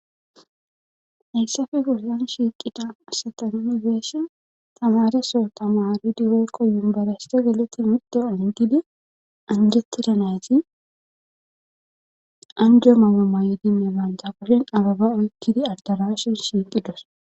Heyssafe goryan shiiqida asatanibeeshe tamareso tamaridiwoykko yumbarayste geleti midte olentidi anjeti danayti anjeo mamumayo dinne maanjagasen ababa oykkidi adalashin shiiqi dos.